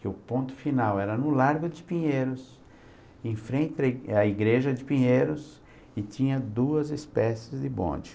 que o ponto final era no Largo de Pinheiros, em frente à Igreja de Pinheiros, e tinha duas espécies de bonde.